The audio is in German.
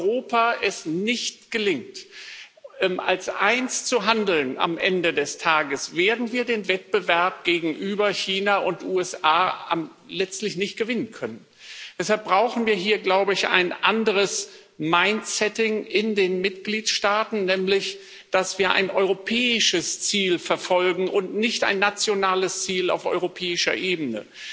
Wenn es Europa nicht gelingt, als eins zu handeln am Ende des Tages, werden wir den Wettbewerb gegenüber China und den USA letztlich nicht gewinnen können. Deshalb brauchen wir hier, glaube ich, ein anderes mind setting in den Mitgliedsstaaten, nämlich, dass wir ein europäisches Ziel verfolgen und nicht ein nationales Ziel auf europäischer Ebene.